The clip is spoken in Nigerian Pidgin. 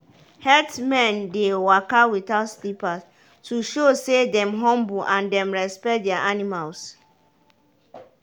herdsmen dey waka without slippers to show say dem humble and dem respect their animals.